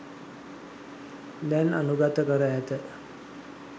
දැන් අනුඟත කර ඇත.